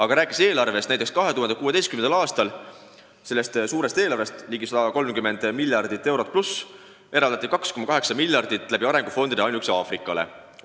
Aga rääkides eelarvest, toon näiteks, et 2016. aastal eraldati sellest suurest eelarvest – veidi üle 30 miljardi euro – 2,8 miljardit arengufondide kaudu ainuüksi Aafrikale.